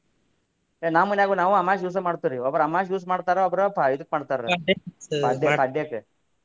ಏ ನಮ್ಮ ಮನ್ಯಾಗು ನಾವು ಅಮಾಷಿ ದಿವಸ ಮಾಡ್ತೇವ್ರಿ ಒಬ್ಬರ ಅಮಾಷಿ ದಿವಸ ಮಾಡ್ತಾರ ಒಬ್ಬರ ಇದಕ್ಕ ಮಾಡ್ತಾರಿ ಪಾಡ್ಯಕ್ಕೆ.